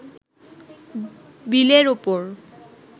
বিলের ওপর